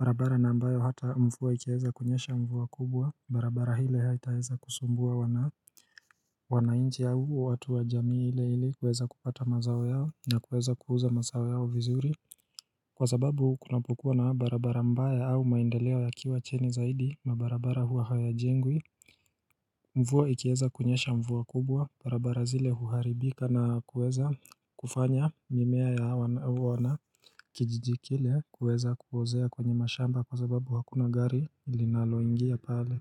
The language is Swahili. barabara na ambayo hata mvua ikiweza kunyesha mvua kubwa barabara ile haitaeza kusumbua wana wanainchi au watu wa jamii ile ile kueza kupata mazao yao na kueza kuuza mazao yao vizuri Kwa sababu kunapokua na barabara mbaya au maendeleo ya kiwa chini zaidi na barabara hua haya jengwi mvua ikieza kunyesha mvua kubwa, barabara zile huharibika na kueza kufanya mimea ya kijijikile kueza kuozea kwenye mashamba kwa sababu hakuna gari linaloingia pale.